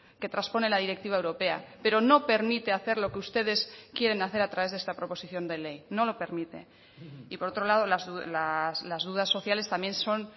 que traspone la directiva europea pero no permite hacer lo que ustedes quieren hacer a través de esta proposición de ley no lo permite y por otro lado las dudas sociales también son